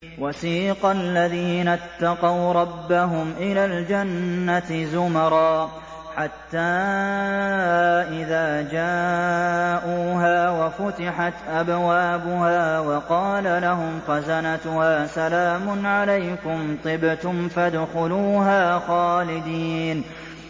وَسِيقَ الَّذِينَ اتَّقَوْا رَبَّهُمْ إِلَى الْجَنَّةِ زُمَرًا ۖ حَتَّىٰ إِذَا جَاءُوهَا وَفُتِحَتْ أَبْوَابُهَا وَقَالَ لَهُمْ خَزَنَتُهَا سَلَامٌ عَلَيْكُمْ طِبْتُمْ فَادْخُلُوهَا خَالِدِينَ